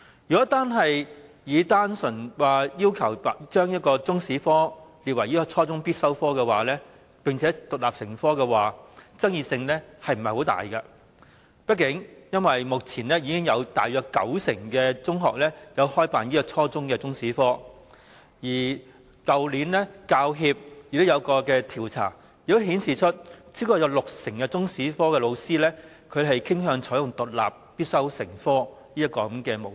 如果只是單純地要求把中史列為初中必修科並獨立成科，相信爭議性不會很大，因為畢竟目前已有約九成中學開辦初中中史科，而去年香港教育專業人員協會進行的一項調查亦顯示，超過六成中史科教師傾向採用獨立必修成科的模式。